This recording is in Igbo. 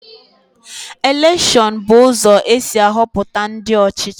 Elekshon bụ ụzọ esi ahọpụta ndị ọchịchị.